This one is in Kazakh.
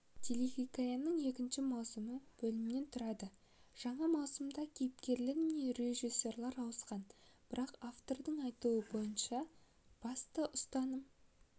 телехикаяның екінші маусымы бөлімнен тұрады жаңа маусымда кейіпкерлер мен режиссер ауысқан бірақ авторлардың айтуынша басты ұстаным